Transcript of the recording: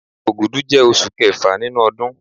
Ògùdù jẹ́ osù kẹfà nínú ọdún